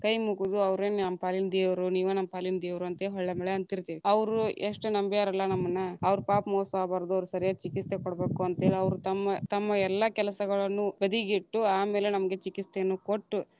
ಕೈಮಗುದು ಅವ್ರೇ ನಮ್ ಪಾಲಿನ ದೇವರು ನೀವ ನಮ್ಮ ಪಾಲಿನ ದೇವ್ರು ಅಂತ ಹೊಳ್ಳ ಮುಳ್ಳ ಅಂತಿರತೇವಿ, ಅವರು ಎಷ್ಟು ನಂಬ್ಯಾರಲ್ಲ ನಮ್ಮನ್ನ ಅವರಿಗ ಪಾಪ್ ಮೋಸ ಆಗ್ಬಾರದು ಅವ್ರಿಗ ಸರಿಯಾದ ಚಿಕಿತ್ಸೆ ಕೊಡಬೇಕು ಅಂತ ಹೇಳಿ ಅವ್ರ ತಮ್ಮ ತಮ್ಮ ಎಲ್ಲಾ ಕೆಲಸಗಳನ್ನು ಬದಿಗಿಟ್ಟು, ಆಮೇಲೆ ನಮಗೆ ಚಿಕಿತ್ಸೆಯನ್ನು ಕೊಟ್ಟು.